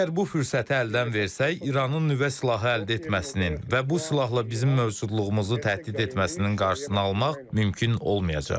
Əgər bu fürsəti əldən versək, İranın nüvə silahı əldə etməsinin və bu silahla bizim mövcudluğumuzu təhdid etməsinin qarşısını almaq mümkün olmayacaq.